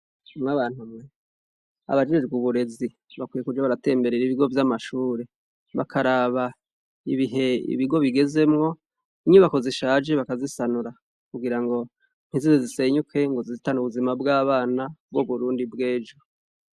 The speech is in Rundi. mw'abantumwe abajejwe uburezi bakwiye kuja baratemberera ibigo by'amashure bakaraba ibihe ibigo bigezemwo, inyubako zishaje bakazisanura kugira ngo ntizize zisenyuke ngo zihitane ubuzima bw'abana b'uburundi bw'ejo.